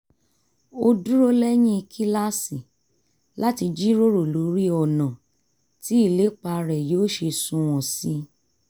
ó dúró lẹ́yìn kíláàsì láti jíròrò lórí ọ̀nà tí ìlépa rẹ̀ yóò ṣe sunwọ̀n sí i